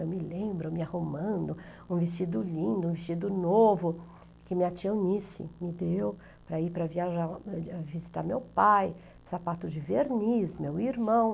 Eu me lembro, me arrumando, um vestido lindo, um vestido novo, que minha tia Onísse me deu para ir para viajar, visitar meu pai, sapato de verniz, meu irmão.